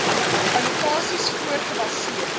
allokasies voor gebaseer